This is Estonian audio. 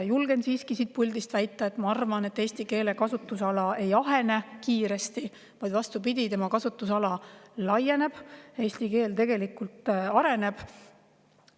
Julgen siiski siit puldist väita – see on minu arvamus –, et eesti keele kasutusala ei ahene kiiresti, vaid vastupidi, selle kasutusala laieneb, eesti keel tegelikult areneb.